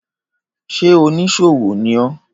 Ṣé oníṣòwò ní ọ́?